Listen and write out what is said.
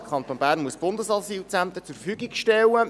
Der Kanton Bern muss Bundesasylzentren zur Verfügung stellen;